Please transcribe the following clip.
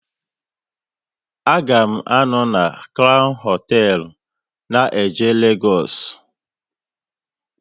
A ga m à nọ na Crown hoteelu na jee Legoosu